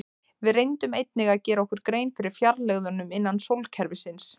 Við reyndum einnig að gera okkur grein fyrir fjarlægðunum innan sólkerfisins.